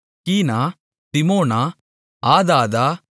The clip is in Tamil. கீனா திமோனா ஆதாதா